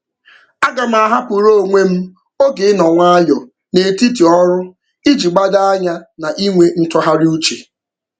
Aga m ahapụrụ onwe m oge ịnọ nwayọọ n'etiti ọrụ iji gbado anya na inwe ntụgharịuche.